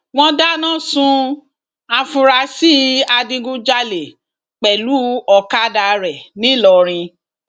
wọn dáná sun àfúrásì adigunjalè pẹlú ọkadà rẹ ńìlọrin